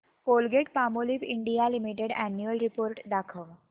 Colgate Palmolive India limited annual report दाखव